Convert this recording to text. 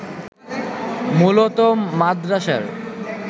মূলত মাদরাসার